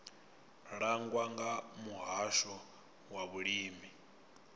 langwa nga muhasho wa vhulimi